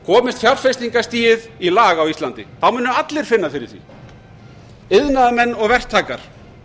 komist fjárfestingastigið í lag á íslandi munu allir finna fyrir því iðnaðarmenn og verktakar